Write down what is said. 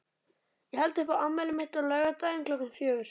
Ég held upp á afmælið mitt á laugardaginn klukkan fjögur.